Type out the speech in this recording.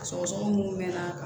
Sɔgɔsɔgɔni munnu mɛnna